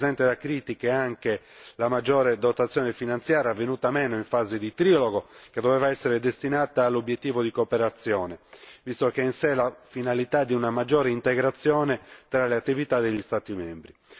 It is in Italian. Non è esente da critiche neppure la maggiore dotazione finanziaria, venuta meno in fase di trilogo, che doveva essere destinata all'obiettivo di cooperazione, visto che ha in sé la finalità di una maggiore integrazione fra le attività degli Stati membri.